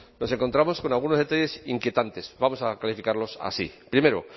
nos encontramos con algunos detalles inquietantes vamos a calificarlos así primero